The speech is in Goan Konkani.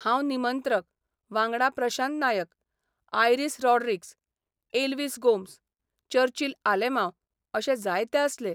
हांव निमंत्रक, वांगडा प्रशांत नायक, आयरिस रॉड्रिक्स, एल्विस गोम्स, चर्चिल आलेमांव अशे जायते आसले.